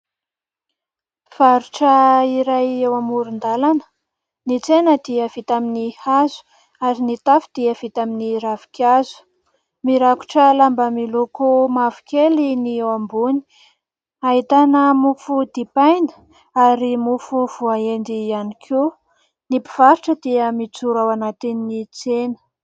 Mpivarotra iray eo amoron-dalana. Ny tsena dia vita amin'ny hazo ary ny tafo dia vita amin'ny ravinkazo, mirakotra lamba miloko mavokely ny eo ambony, ahitana mofo dipaina ary mofo voaendy ihany koa. Ny mpivarotra dia mijoro ao anatin'ny tsena.